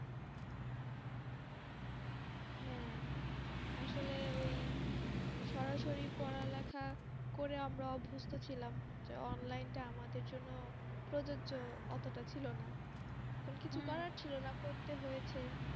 হ্যাঁ। আসলে ঐ সরাসরি পড়া লেখা করে আমরা অভ্যস্ত ছিলাম, এবার online টা আমাদের জন্য প্রযোজ্য অতটা ছিলোনা। কিছু করার ছিলোনা করতে হয়েছে।